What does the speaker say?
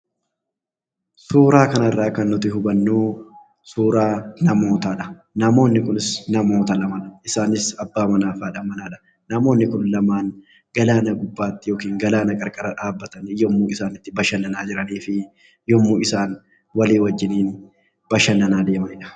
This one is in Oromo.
Suuraa kanarraa kan nuti hubannu, suuraa namootaa dha. Namoonni kunis namoota lama dha. Isaanis abbaa manaa fi haadha manaa dha. Namoonni kun lamaan galaana gubbaatti yookiin galaana qarqara dhaabbatanii yommuu isaan itti bashannanaa jiranii fi yommuu isaan walii wajjiniin bashannanaa deemanii dha.